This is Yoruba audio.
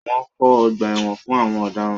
Wọ́n kọ́ ọgbà ẹ̀wọ̀n fún àwọn ọ̀daràn.